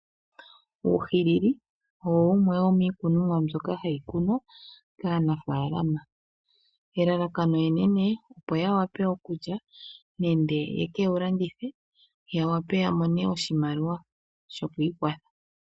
Uuhilili owo wumwe womiikunomwa mbyoka hayi kunwa kaanafaalama, elalakano enene opo ya wape okulya nenge ye ke wu landithe ya wape ya mone oshimaliwa sho ku ikwatha.